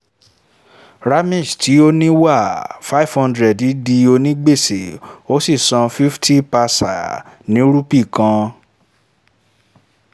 ramesh tí ó ní wà five hundred di ònígbèsè ó sì sàn fifty paisa ní rúpèé kan